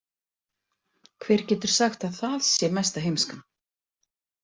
Hver getur sagt að það sé mesta heimskan?